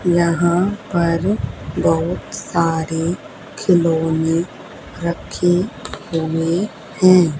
यहां पर बहुत सारे खिलौने रखें हुए हैं।